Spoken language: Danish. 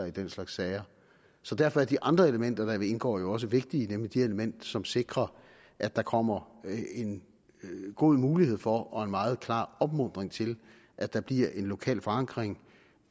i den slags sager så derfor er de andre elementer der vil indgå jo også vigtige nemlig de elementer som sikrer at der kommer en god mulighed for og en meget klar opmuntring til at der bliver en lokal forankring